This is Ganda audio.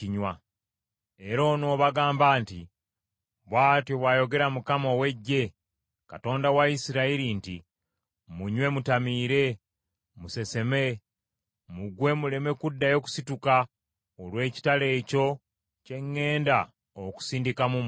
“Era onoobagamba nti, ‘Bw’atyo bw’ayogera Mukama ow’Eggye, Katonda wa Isirayiri nti, Munywe mutamiire, museseme, mugwe muleme kuddayo kusituka olw’ekitala ekyo kye ŋŋenda okusindika mu mmwe.’